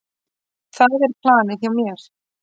Það er planið hjá mér.